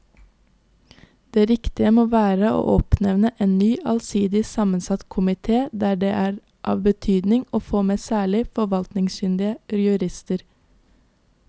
Det riktige må være å oppnevne en ny allsidig sammensatt komite der det er av betydning å få med særlig forvaltningskyndige jurister.